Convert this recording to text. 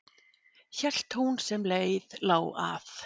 Hélt hún sem leið lá að